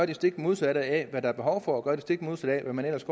det stik modsatte af hvad der er behov for og gør det stik modsatte af hvad man ellers